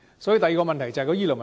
所以，第二個問題便是醫療問題。